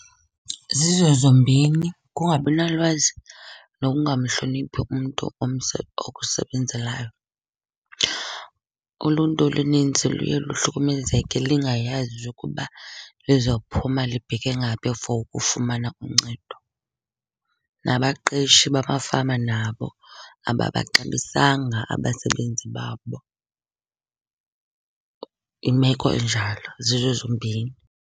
Zizo zombini, kungabinalwazi nokungamhloniphi umntu okusebenzelayo. Uluntu oluninzi luye luhlukumezeke lingayazi ukuba liza kuphuma libheke ngaphi for ukufumana uncedo. Nabaqeshi bamafama nabo ababaxabisanga abasebenzi babo. Imeko enjalo, zizo zombini.